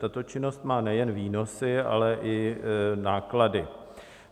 Tato činnost má nejen výnosy, ale i náklady.